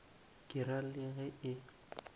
ke ra le ge e